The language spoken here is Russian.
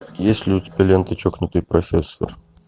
есть ли у тебя лента чокнутый профессор